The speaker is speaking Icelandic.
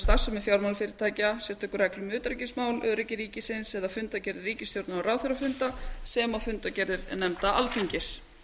starfsemi fjármálafyrirtækja sérstakar reglur um utanríkismál öryggi ríkisins eða fundargerðir ríkisstjórnar og ráðherrafunda sem og fundargerðir nefnda alþingis